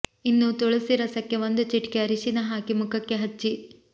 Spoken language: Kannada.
ಇನ್ನು ತುಳಸಿ ರಸಕ್ಕೆ ಒಂದು ಚಿಟಿಕೆ ಅರಿಶಿನ ಹಾಕಿ ಮುಖಕ್ಕೆ ಹಚ್ಚಿ